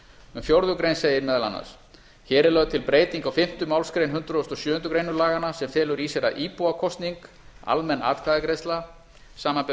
um fjórða grein segir meðal annars hér er lögð til breyting á fimmtu málsgrein hundrað og sjöundu grein laganna sem felur í sér að íbúakosning samanber